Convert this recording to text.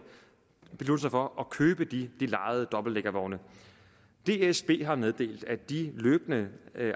sig for at købe de lejede dobbeltdækkervogne dsb har meddelt at de løbende